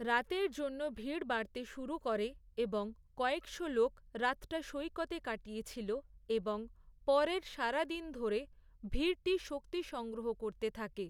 রাতের জন্য ভিড় বাড়তে শুরু করে, এবং কয়েকশো লোক রাতটা সৈকতে কাটিয়েছিল, এবং পরের সারা দিন ধরে ভিড়টি শক্তি সংগ্রহ করতে থাকে।